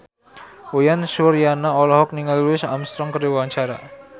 Uyan Suryana olohok ningali Louis Armstrong keur diwawancara